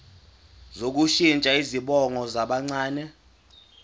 sokushintsha izibongo zabancane